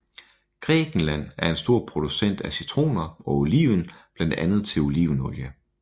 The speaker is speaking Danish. Grækenland er en stor producent af citroner og oliven blandt andet til olivenolie